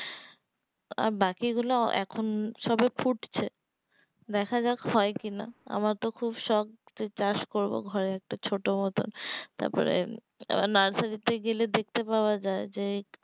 আর বাকি গুলো এখন সবে ফুটছে দেখা যাক হয় কিনা আমার তো খুব সক যে চাষ করবো ঘরে একটা ছোট মতো তাপরে আবার nursery তে গেলে দেখতে পাওয়া যায় যে